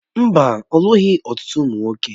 Mbá, olụghi ọtụtụ ụmụ nwoke